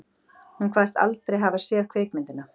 Hún kvaðst aldrei hafa séð kvikmyndina